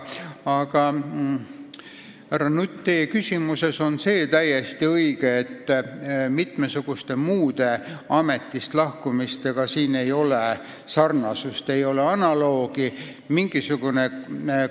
Aga, härra Nutt, teie küsimuses oli täiesti õige see viide, et siin ei ole sarnasust ega analoogiat mitmesuguste muude ametist lahkumistega.